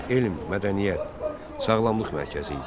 Bura elm, mədəniyyət, sağlamlıq mərkəzi idi.